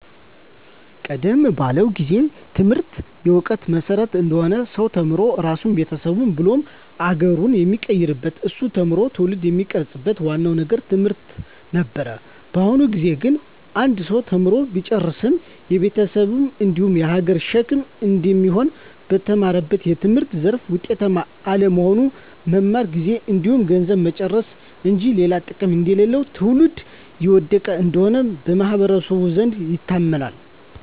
ቀደም ባለው ጊዜ ትምህርት የእውቀት መሰረት አንድ ሰው ተምሮ ራሱን ቤተሰቡን ብሎም ሀገሩን የሚቀይርበት እሱ ተምሮ ትውልድን የሚቀርፅበት ዋናው ነገር ትምህርት ነበር። በአሁኑ ጊዜ ግን አንድ ሰው ተምሮ ቢጨርስም የቤተሰብ እንዲሁም የሀገር ሸክም እንደሚሆን፣ በተማረበት የትምህርት ዘርፍ ውጤታማ አለመሆን፣ መማር ጊዜን እንዲሁም ገንዘብን መጨረስ እንጂ ሌላ ጥቅም እንደሌለው ትውልድ እየወደቀ እንደሆነ በማህበረሰቡ ዘንድ ይታመናል።